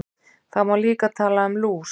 Það má líka tala um lús.